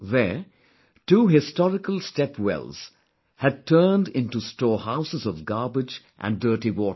There, two historical step wells had turned into storehouses of garbage & dirty water